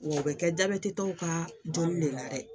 Wa u bɛ kɛ jabɛti tɔw ka dɔnni layɛ dɛ